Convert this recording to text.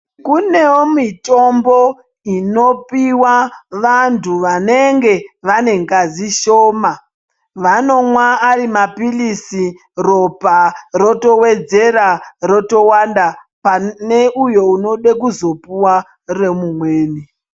Kunevo mitombo inopiva vantu vanenge vane ngazi shoma. Vanomwa ari maphirisi ropa rotovedzera rotowanda pane uyo unode kuzopuva remumweni.